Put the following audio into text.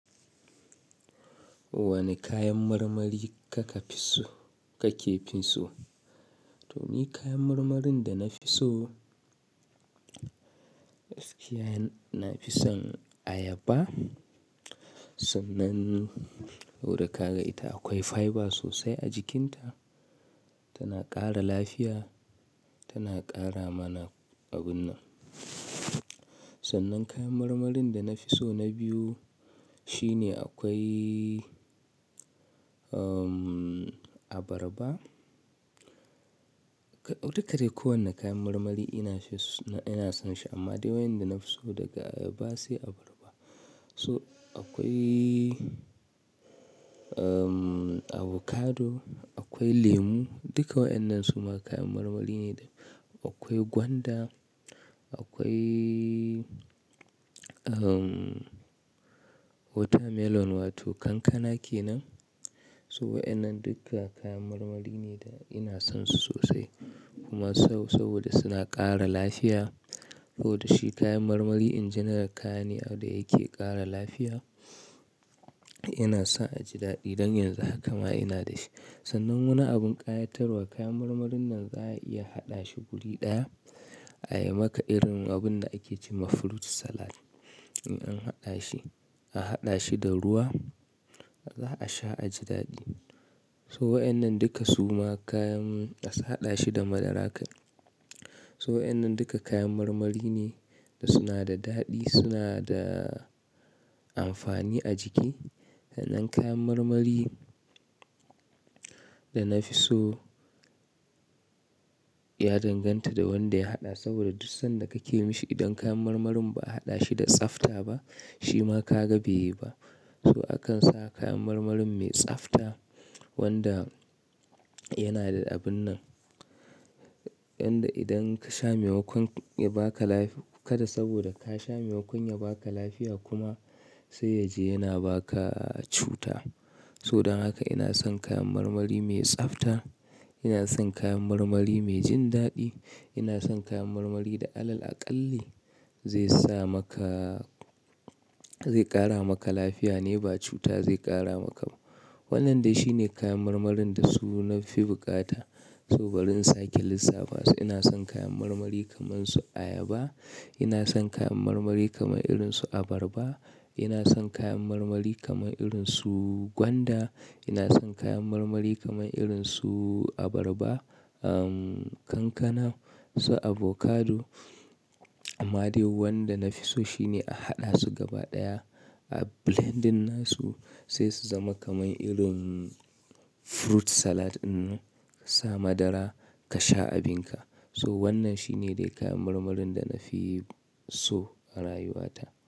Wane kayan marmari kake fi so? To ni kayan marmarin da na fi so, na fi son ayaba. Sannan yau da ka ga ita akwai fiber sosai a jikinta, tana ƙara lafiya, tana ƙara mana abun nan. Sannan kayan marmarin da na fi so na biyu shine akwai abarba. Duka dai kowane kayan marmari ina son shi amma dai wayoyin da na fi so daga ayaba sai abarba. So akwai avocado, akwai lemu, duka waɗannan suma kayan marmari ne. Akwai gwanda, akwai watermelon wato kankana kenan. So waɗannan duka kayan marmari ne da ina son su sosai kuma saboda suna ƙara lafiya. Yau da shi kayan marmari in general kayane da yake ƙara lafiya. Ina son aji daɗi don yanzu haka ma ina da shi. Sannan wani abin ƙayatarwa kayan marmarin nan za a iya haɗa shi wuri ɗaya ayi maka irin abun da ake ce ma fruit salad. In an haɗa shi, a haɗa shi da ruwa za a sha aji daɗi. So wa innan duka suma kayan a haɗa shi da madara kan. So waɗannan duka kayan marmari ne da suna da daɗi, suna da amfani a jiki. Da dan kayan marmari da na fi so ya danganta da wanda ya haɗa saboda duk sanda kake yi mashi idan kayan marmarin ba a haɗa shi da tsafta ba shi ma ka ga beyi ba. So akan sa kayan marmarin mai tsafta wanda yana da abun nan yanda idan ka sha maimakon ya ba ka lafi kada saboda ka sha maimakon ya ba ka lafiya kuma sai yaje yana ba ka cuta. So don haka ina son kayan marmari mai tsafta, ina son kayan marmari mai jin daɗi, ina son kayan marmari da alal aƙalle zai ƙara maka lafiya ne ba cuta zai ƙara maka ba. Waɗannan dai shine kayan marmarin da su na fi buƙata. So barin sake lissafa su ina son kayan marmari kamar su ayaba, ina son kayan marmari kamar irin su abarba, ina son kayan marmari kamar irin su gwanda, ina son kayan marmari kamar irin su abarba, kankana so avocado. Amma dai wanda na fi so shine a haɗa su gaba ɗaya a blending na su sai su zama kamar irin fruit salad dinnan ka sa madara ka sha abin ka. So wannan shine dai kayan marmarin da na fi so a rayuwata.